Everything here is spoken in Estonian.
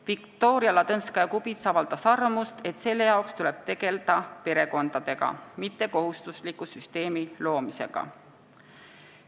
Viktoria Ladõnskaja-Kubits avaldas arvamust, et selleks tuleb tegeleda perekondadega, mitte kohustusliku süsteemi loomisega.